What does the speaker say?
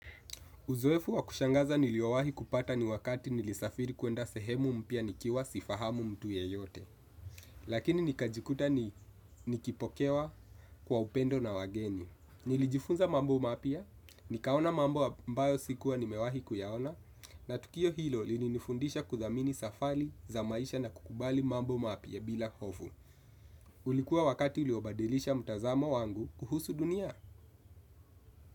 Uzoefu wa kushangaza niliowahi kupata ni wakati nilisafiri kuenda sehemu mpya nikiwa sifahamu mtu yeyote. Lakini nikajikuta nikipokewa kwa upendo na wageni. Nilijifunza mambo mapya, nikaona mambo ambayo sikuwa nimewahi kuyaona, na tukio hilo lilinifundisha kudhamini safali za maisha na kukubali mambo mapya bila hofu. Ulikuwa wakati uliobadilisha mtazamo wangu kuhusu dunia.